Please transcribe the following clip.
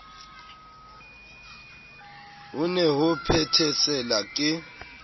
ho ne ho phethesela ke